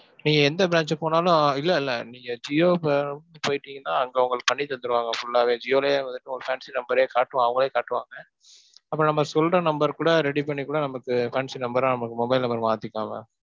இப்ப எந்த branch க்கு போனாலும் இல்ல இல்ல, நீங்க ஜியோக்கு போயிட்டீங்கனா அங்க உங்களுக்கு பண்ணி தந்துருவாங்க full ஆவே. ஜியோலயே வந்துட்டு ஒரு fancy number ரே காட்டுவாங்க, அவங்களே காட்டுவாங்க. அப்ப நம்ம சொல்லுற number கூட ready பண்ணிக்கூட நமக்கு fancy number ஆ நமக்கு mobile number ஆ மாத்திக்கலாம் mam.